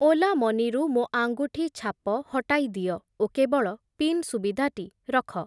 Ola money ରୁ ମୋ ଆଙ୍ଗୁଠି ଛାପ ହଟାଇ ଦିଅ, ଓ କେବଳ ପିନ୍ ସୁବିଧାଟି ରଖ।